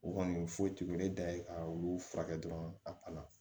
U kɔni foyi t'u e da ye ka olu furakɛ dɔrɔn a